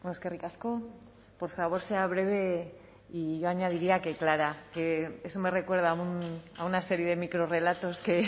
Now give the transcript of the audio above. eskerrik asko por favor sea breve y yo añadiría que clara que eso me recuerda a una serie de micro relatos que